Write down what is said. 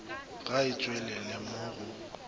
ga e tšwelele mo go